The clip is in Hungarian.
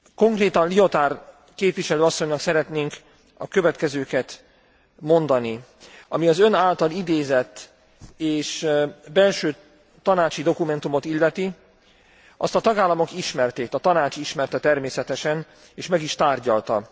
Konkrétan Liotard képviselő asszonynak szeretnénk a következőket mondani ami az ön által idézett belső tanácsi dokumentumot illeti, azt a tagállamok ismerték, a Tanács ismerte természetesen, és meg is tárgyalta.